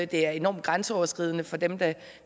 det er enormt grænseoverskridende for dem det